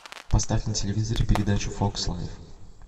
поставь на телевизоре передачу фокс лайф